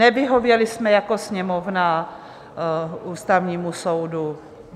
Nevyhověli jsme jako Sněmovna Ústavnímu soudu.